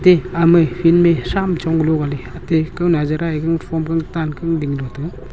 eh ama field ma sham chonglo golo gale aate kau nazara eh gangphong gangtan gangdinglo taga.